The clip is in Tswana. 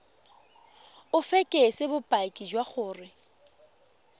o fekese bopaki jwa gore